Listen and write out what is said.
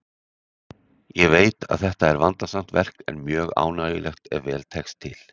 Ég veit að þetta er vandasamt verk, en mjög ánægjulegt ef vel tekst til.